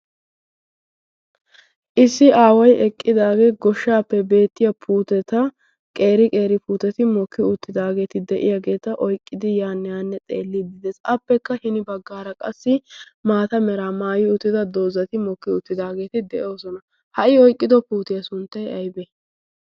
issi aaway eqqidaagee goshshappe beettiyaa puutetta qeeri qeeri puuttetti mokki uttidaageti de'iyaageta xeelliidi de"ees. appekka hini baggaara qassi maata meraa maayi uttida dozati de"oosona. ha i oykkido puutiyaa sunttay aybee?